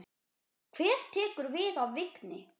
Hver tekur við af Vigni?